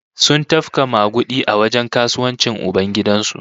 Sun tafka magudi a wajen kasuwancin ubangidan su